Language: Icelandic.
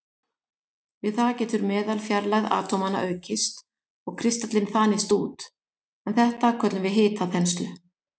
Við það getur meðalfjarlægð atómanna aukist og kristallinn þanist út, en þetta köllum við hitaþenslu.